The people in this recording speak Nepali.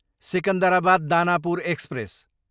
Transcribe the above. सिकन्दराबाद, दानापुर एक्सप्रेस